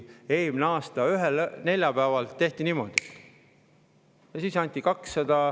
Eelmise aasta ühel neljapäeval tehti sõrmenips ja anti – palju see oli?